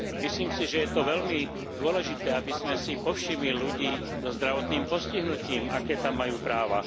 Myslím si, že je to veľmi dôležité, aby sme si povšimli ľudí so zdravotným postihnutím, aké tam majú práva.